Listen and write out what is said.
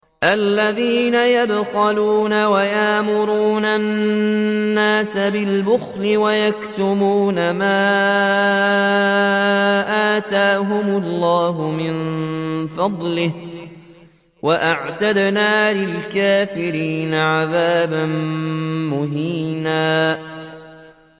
الَّذِينَ يَبْخَلُونَ وَيَأْمُرُونَ النَّاسَ بِالْبُخْلِ وَيَكْتُمُونَ مَا آتَاهُمُ اللَّهُ مِن فَضْلِهِ ۗ وَأَعْتَدْنَا لِلْكَافِرِينَ عَذَابًا مُّهِينًا